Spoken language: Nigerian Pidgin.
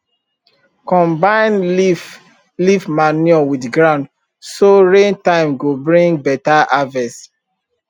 combine leaf leaf manure with ground so rain time go bring beta harvest